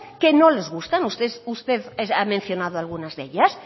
que no les gustan usted ha mencionado algunas de ellas